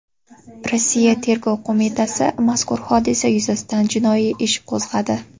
Rossiya Tergov qo‘mitasi mazkur hodisa yuzasidan jinoiy ish qo‘zg‘adi.